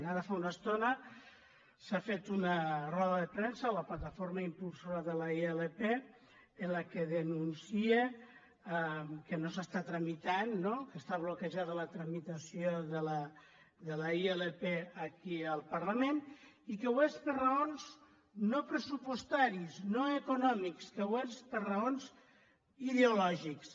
ara fa una estona s’ha fet una roda de premsa la plataforma impulsora de la ilp en què denuncia que no s’està tramitant no que està bloquejada la tramitació de la ilp aquí al parlament i que ho és per raons no pressupostàries no econòmiques que ho és per raons ideològiques